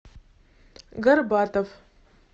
горбатов